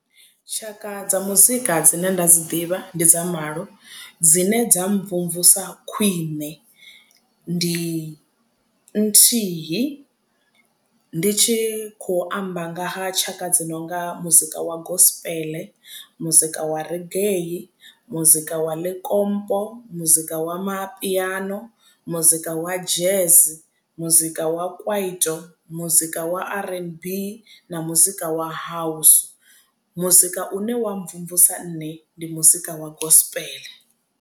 Tshaka dza muzika dzine nda dzi ḓivha ndi dza malo dzine dza mvumvusa khwiṋe ndi nthihi ndi tshi kho amba nga ha tshaka dzi nonga muzika wa gospel muzika wa reggae muzika wa likompo muzika wa mapiano muzika wa jazz muzika wa kwaito muzika wa r_n_b na muzika wa house muzika une wa mvumvusa nṋe ndi muzika wa gospel.